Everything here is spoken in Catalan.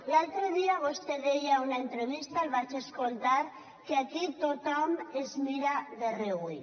l’altre dia vostè deia a una entrevista el vaig escoltar que aquí tothom es mira de reüll